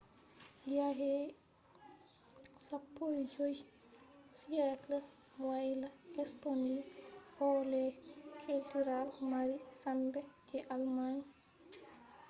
yake 15th century wayla estonia ɗo les cultural mari sembe je germany